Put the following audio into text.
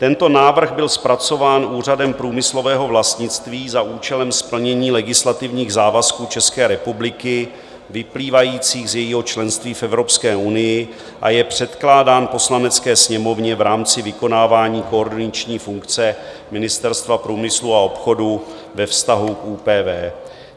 Tento návrh byl zpracován Úřadem průmyslového vlastnictví za účelem splnění legislativních závazků České republiky vyplývajících z jejího členství v Evropské unii a je předkládán Poslanecké sněmovně v rámci vykonávání koordinační funkce Ministerstva průmyslu a obchodu ve vztahu k ÚPV.